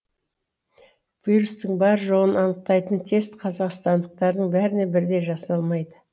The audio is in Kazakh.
вирустың бар жоғын анықтайтын тест қазақстандықтардың бәріне бірдей жасалмайды